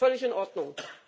Völlig in Ordnung!